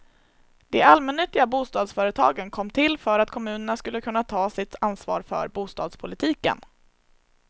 De allmännyttiga bostadsföretagen kom till för att kommunerna skulle kunna ta sitt ansvar för bostadspolitiken.